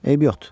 Eybi yox.